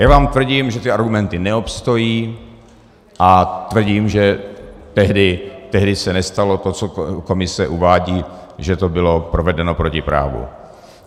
Já vám tvrdím, že ty argumenty neobstojí, a tvrdím, že tehdy se nestalo to, co komise uvádí, že to bylo provedeno proti právu.